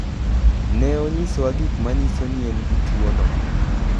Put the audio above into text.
Ne onyisowa gik manyiso ni en gi tuwono.